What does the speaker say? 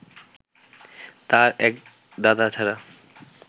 তাঁর এক দাদা ছাড়া